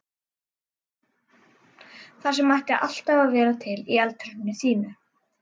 Það sem ætti alltaf að vera til í eldhúsinu þínu!